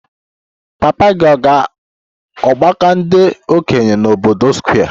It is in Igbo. Papa gị ọ̀ ga-aga ọgbako ndi okenye n'obodo Square?